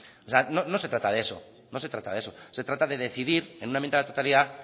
o sea no se trata de eso no se trata de eso se trata de decidir en una enmienda a la totalidad